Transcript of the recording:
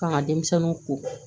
K'an ka denmisɛnninw ko